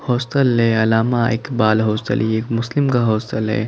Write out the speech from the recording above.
Hostel hostel ये एक मुस्लिम का हॉस्टल है।